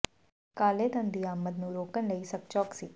ਕਾਲੇ ਧਨ ਦੀ ਆਮਦ ਨੂੰ ਰੋਕਣ ਲਈ ਸਖ਼ਤ ਚੌਕਸੀ